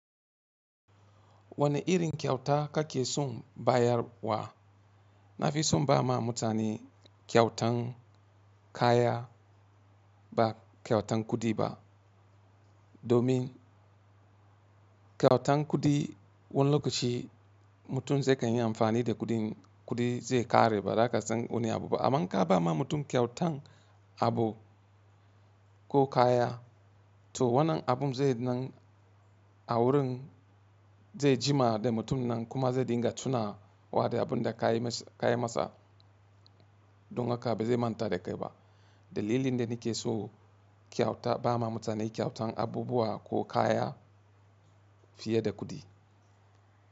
Wane irin kyauta kake so bayarwa? Na fi so ba ma mutane kyautan kaya ba kyautan kuɗi ba. Domin kyautan kuɗi wani lokaci mutum zai kai yin amfani da kuɗin, kuɗi zai ƙare ba zaka san wani abu ba. Aman in kabawa ma mutum kyautan abu ko kaya to wannan abun zai nan a wurin zai jima da mutum nan kuma zai dinga tuna wa da abun da ka yi masa. Don haka ba zai manta da kai ba. Dalilin da nake so kyauta ba ma mutane kyautan abubuwa ko kaya fiye da kuɗi.